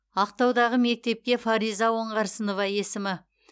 ақтаудағы мектепке фариза оңғарсынова есімі